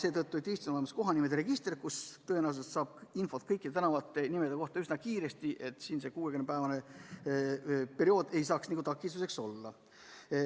Eestis on olemas kohanimede register, kust tõenäoliselt saab infot kõikide tänavanimede kohta üsna kiiresti, ja siin ei saa see 60-päevane periood takistuseks olla.